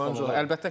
Əlbəttə ki, götür.